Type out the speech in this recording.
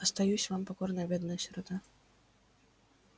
остаюсь вам покорная бедная сирота